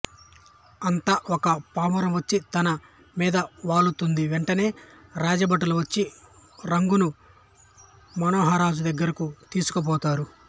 అంత ఒక పావురంవచ్చి తనమీద వాలు తుంది వెంటనే రాజభటులువచ్చి రంగును మనోహరరాజుదగ్గరకు తీసుకుపోతారు